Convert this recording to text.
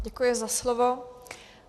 Děkuji za slovo.